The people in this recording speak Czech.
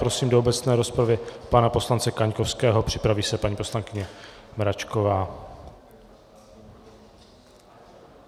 Prosím do obecné rozpravy pana poslance Kaňkovského, připraví se paní poslankyně Mračková.